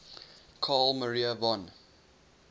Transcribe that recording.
carl maria von